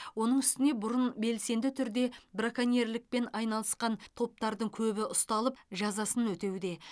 оның үстіне бұрын белсенді түрде браконьерлікпен айналысқан топтардың көбі ұсталып жазасын өтеуде